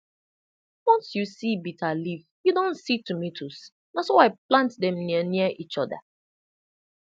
once you see bitter leaf you don see tomatoes na so i plant them near near each other